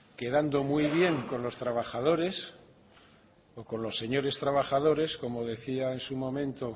quedando muy bien con los trabajadores o con los señores trabajadores como decía en su momento